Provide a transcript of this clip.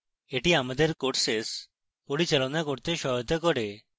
এটি আমাদের courses পরিচালনা করতে সহায়তা করে